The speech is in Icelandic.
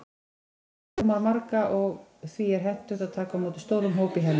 Kirkjan rúmar marga, og því er hentugt að taka á móti stórum hópum í henni.